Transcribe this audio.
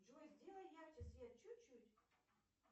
джой сделай ярче свет чуть чуть